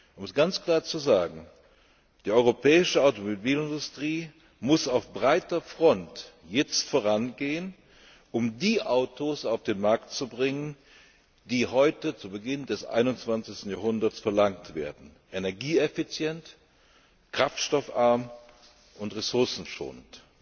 Um es ganz klar zu sagen Die europäische Automobilindustrie muss auf breiter Front jetzt vorangehen, um die Autos auf den Markt zu bringen, die heute zu Beginn des 21. Jahrhunderts verlangt werden energieeffizient, kraftstoffarm und ressourcenschonend.